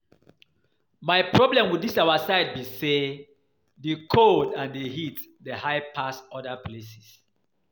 My problem with this our side be say the cold and the heat dey high pass for other places